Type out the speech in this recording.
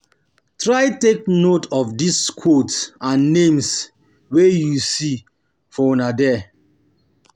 Try take note of di quotes and names um wey you see for um there